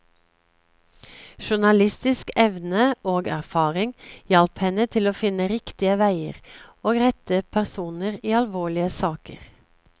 Journalistisk evne og erfaring hjalp henne til å finne riktige veier og rette personer i alvorlige saker.